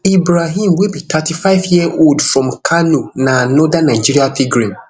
ibrahim wey be thirty-fiveyearold from kano na anoda nigerian pilgrim